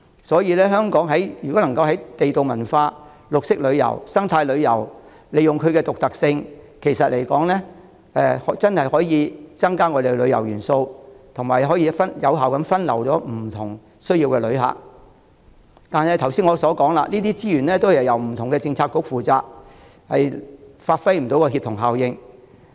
所以，香港如果能夠在地道文化、綠色旅遊和生態旅遊方面利用其獨特性，真的可以增加我們的旅遊元素，並有效地分流不同需要的旅客。但是，正如我剛才所說的，這些資源均由不同政策局負責，無法發揮協同效應。